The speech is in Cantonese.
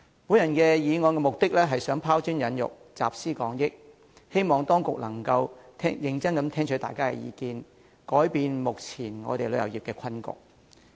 我動議議案目的是拋磚引玉、集思廣益，希望當局能夠認真聽取大家的意見，紓解旅遊業目前的困局。